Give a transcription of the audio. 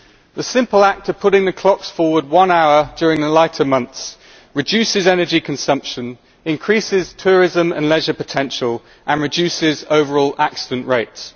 The simple act of putting the clocks forward one hour during the lighter months reduces energy consumption, increases tourism and leisure potential and reduces overall accident rates.